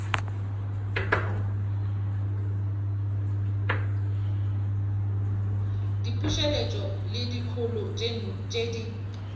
diputseletšo le dikholo tše di